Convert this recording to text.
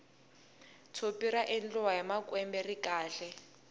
tshopi ra endliwa hi makwembe ri kahle